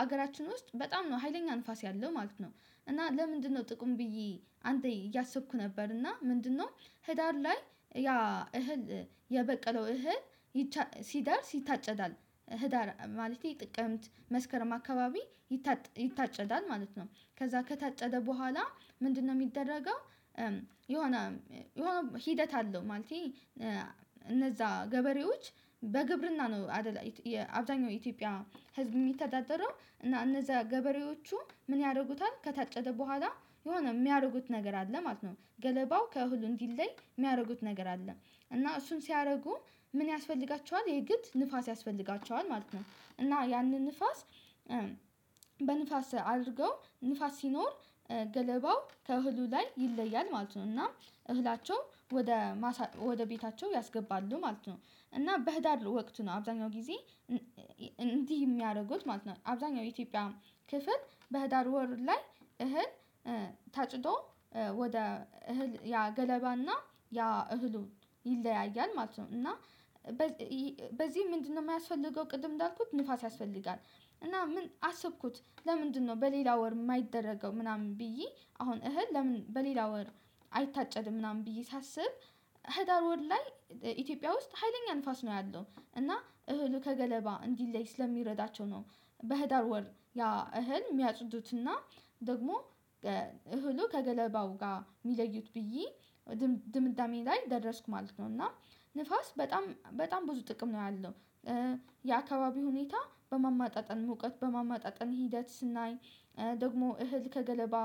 ሀገራችን ውስጥ በጣም ነው ሀይለኛ ንፋስ ያለው ማለት ነው። እና ለምንድነው ጥቁሙ ብዬ አንተ እያሰብኩ ነበር እና ምንድነው? ህዳር ላይ ያ እህል የበቀለው እህል ሲደርስ ይታጨዳል ህዳር ማለቴ ጥቅምት መስከረም አካባቢ ይታጨዳል ማለት ነው። ከዛ ከታጨደ በኋላ ምንድነው የሚደረገው? የሆነ የሆነ ሂደት አለው እነዛ ገበሬዎች በግብርና ነው አይደል አብዛኛው ኢትዮጵያ ህዝብ የሚተዳደረው እና እነዛ ገበሬዎቹ ምን ያደርጉታል ከታጨደ በኋላ የሆነ የሚያደርጉት ነገር አለ ማለት ነው። ገለባው ከእህሉ እንዲል ላይ የሚያደርጉት ነገር አለ። እና እሱን ሲያደርጉ ምን ያስፈልጋቸዋል የግድ ንፋስ ያስፈልጋቸዋል ማለት ነው። እና ያንን ንፋስ በንፋስ አድርገው ንፋስ ሲኖር ገለባው ከእህሉ ላይ ይለያል ማለት ነው። እና እህላቸው ወደ ማሳ ወደ ቤታቸው ያስገባሉ ማለት ነው። እና በህዳር ወቅት ነው አብዛኛው ጊዜ እንዲህ የሚያደርጉት ማለት ነው። አብዛኛው የኢትዮጵያ ክፍል በህዳር ወር ላይ እህል ታጭዶ ወደ እህል ያ ገለባና ያ እህሉ ይለያያል ማለት ነው። እና በዚህ ምንድነው የማያስፈልገው? ቅድም እንዳልኩት ንፋስ ያስፈልጋል። እና ምን አሰብኩት ለምንድነው በሌላ ወር የማይደረገው? ምናምን ብዬ አሁን እህል ለምን በሌላ ወር አይታጨድም ምናምን ብዬ ሳስብ ህዳር ወር ላይ ኢትዮጵያ ውስጥ ሀይለኛ ንፋስ ነው ያለው። እና እህሉ ከገለባ እንዲለይ ስለሚረዳቸው ነው። በህዳር ወር ያ እህል የሚያጽዱትና ደግሞ እህሉ ከገለባው ጋር የሚለዩት ብዬ ድምዳሜ ላይ ተደረስኩ ማለት ነው። እና ንፋስ በጣም በጣም ብዙ ጥቅም ነው ያለው። የአካባቢ ሁኔታ በማማጣጠን ሙቀት በማማጣጠን ሂደት ስናይ ደግሞ እህል ከገለባ